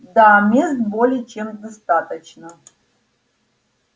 да мест более чем достаточно